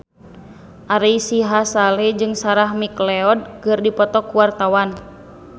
Ari Sihasale jeung Sarah McLeod keur dipoto ku wartawan